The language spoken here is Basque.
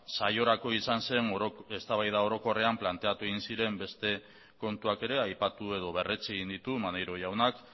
saiorako izan zen eztabaida orokorrean planteatu egin ziren beste kontuak ere aipatu edo berretsi egin ditu maneiro jaunak